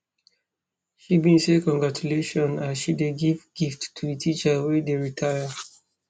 she bin say congratulations as she dey give gift to di teacher wey dey retire